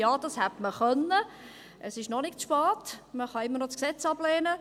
Ja, das hätte man tun können, es ist noch nicht zu spät, man kann immer noch das Gesetz ablehnen.